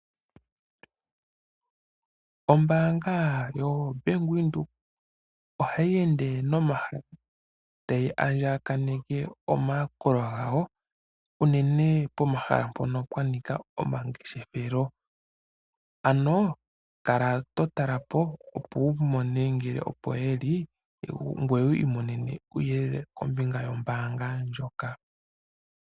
Ombaanga yoBank Windhoek ohayi ende nomahala tayi andjaneke omayakulo gawo unene pomahala mpono pwanika omangeshefelo. Ano kala to tala po ngoye wumone ngele opo yeli ngoye wiimonene uuyelele kombinga wombaanga ndjoka.